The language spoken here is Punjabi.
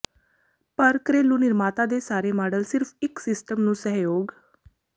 ਪਰ ਘਰੇਲੂ ਨਿਰਮਾਤਾ ਦੇ ਸਾਰੇ ਮਾਡਲ ਸਿਰਫ ਇੱਕ ਸਿਸਟਮ ਨੂੰ ਸਹਿਯੋਗ